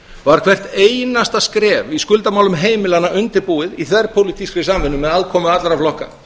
var hvert einasta skref í skuldamálum heimilanna undirbúið í þverpólitískri samvinnu með aðkomu allra flokka